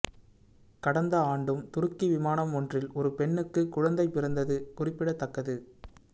கடந்த ஆண்டும் துருக்கி விமானம் ஒன்றில் ஒரு பெண்ணுக்கு குழந்தை பிறந்தது குறிப்பிடத்தக்கது